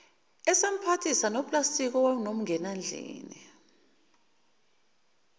esemphathise noplastiki owawunomngenandlini